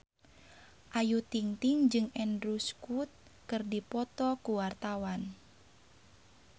Ayu Ting-ting jeung Andrew Scott keur dipoto ku wartawan